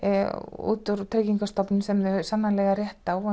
út úr Tryggingastofnun sem þeir eiga sannarlega rétt á